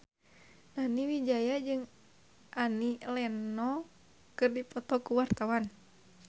Nani Wijaya jeung Annie Lenox keur dipoto ku wartawan